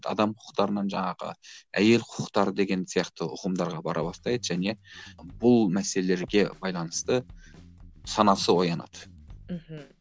адам құқықтарынан жаңағы әйел құқықтары деген сияқты ұғымдарға бара бастайды және бұл мәселелерге байланысты санасы оянады мхм